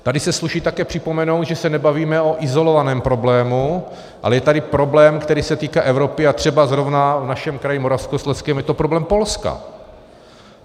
Tady se sluší také připomenout, že se nebavíme o izolovaném problému, ale je tady problém, který se týká Evropy, a třeba zrovna v našem kraji Moravskoslezském je to problém Polska.